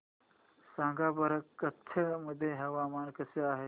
सांगा बरं कच्छ मध्ये हवामान कसे आहे